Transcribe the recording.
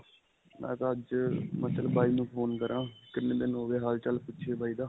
ਮੈਂ ਅੱਜ ਮੈਂ ਚੱਲ ਬਾਈ ਨੂੰ phone ਕਰਾਂ ਕਿੰਨੇ ਦਿਨ ਹੋ ਗਏ ਹਾਲ-ਚਾਲ ਪੁੱਛੀਏ ਬਾਈ ਦਾ.